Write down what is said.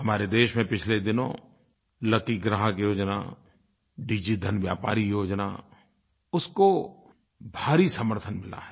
हमारे देश में पिछले दिनों लकी ग्राहक योजना डिजिधन व्यापारी योजना उसको भारी समर्थन मिला है